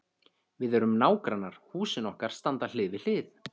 Við erum nágrannar, húsin okkar standa hlið við hlið.